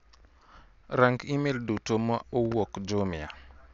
Rang' imel duto ma owuok Jumia.